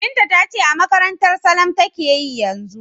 Binta ta ce a makarantar Salam take yi yanzu.